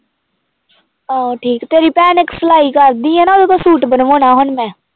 ਆਹੋ ਠੀਕ ਤੇਰੀ ਭੈਣ ਇੱਕ ਸਲਾਈ ਕਰਦੀ ਆ ਨਾ ਉਹਤੋਂ ਸੂਟ ਬਣਵਾਉਣਾ ਹੁਣ ਮੈਂ।